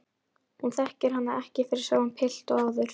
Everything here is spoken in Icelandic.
Hún þekkir hann ekki fyrir sama pilt og áður.